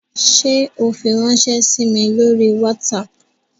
Ṣe o firanṣẹ sí mí lórí WhatsApp?